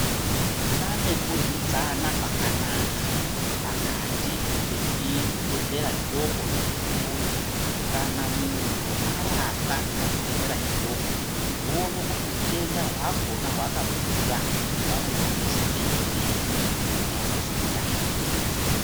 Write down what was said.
Pane kuryidzana kwakanaka pakati vezvibhedhlera zvidoko nezvikuru. Kana munhu arapwa pachibhedhlera chidoko voone kuti utenda hwakhona hwakakura, vanomuendese mberi kuma hospitari.